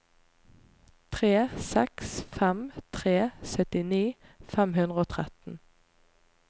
tre seks fem tre syttini fem hundre og tretten